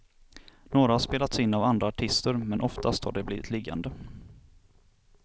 Några har spelats in av andra artister, men oftast har de blivit liggande.